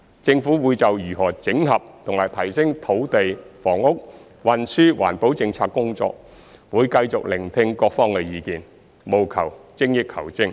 政府會就如何整合和提升土地、房屋、運輸及環保政策工作，繼續聆聽各方意見，務求精益求精。